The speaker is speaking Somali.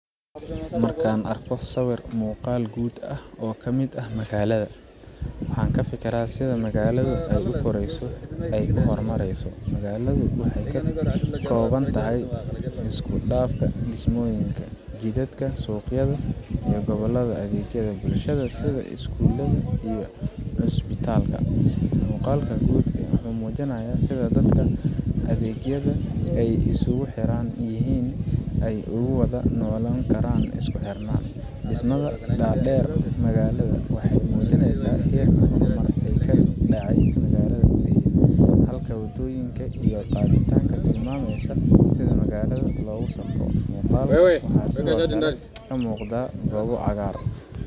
Marka aan arko sawir muuqaal guud ah oo ka mid ah magaalada, waxaan ka fikiraa sida magaalada ay u korayso oo ay u horumareyso. Magaaladu waxay ka koobantahay isku dhafan dhismooyin, jidad, suuqyo, iyo goobaha adeegyada bulshada sida iskuulo iyo cusbitaalo. Muuqaalka guud wuxuu muujinayaa sida dadka iyo adeegyada ay isugu xiran yihiin si ay ugu wada noolaan karaan si isku xiran. Dhismayaasha dhaadheer ee magaalada waxay muujinayaan heerka horumarka ee ka dhacay gudaha, halka wadooyinka iyo gaadiidka ay tilmaamayaan sida magaalada loogu safro. Muuqaalka waxaa sidoo kale ka muuqda goobo cagaaran,